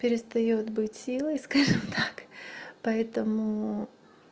перестаёт быть силой скажем так поэтому